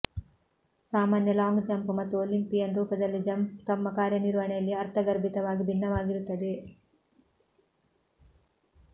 ಸಾಮಾನ್ಯ long jump ಮತ್ತು Olympian ರೂಪದಲ್ಲಿ ಜಂಪ್ ತಮ್ಮ ಕಾರ್ಯನಿರ್ವಹಣೆಯಲ್ಲಿ ಅರ್ಥಗರ್ಭಿತವಾಗಿ ಭಿನ್ನವಾಗಿರುತ್ತವೆ